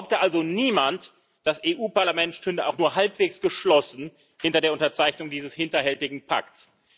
Behaupte also niemand, das EU Parlament stünde auch nur halbwegs geschlossen hinter der Unterzeichnung dieses hinterhältigen Pakts.